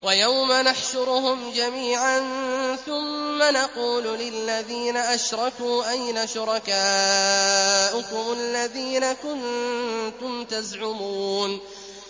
وَيَوْمَ نَحْشُرُهُمْ جَمِيعًا ثُمَّ نَقُولُ لِلَّذِينَ أَشْرَكُوا أَيْنَ شُرَكَاؤُكُمُ الَّذِينَ كُنتُمْ تَزْعُمُونَ